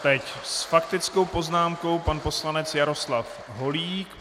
Teď s faktickou poznámkou pan poslanec Jaroslav Holík.